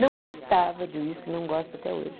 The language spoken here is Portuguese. Não gostava de uísque, não gosto até hoje.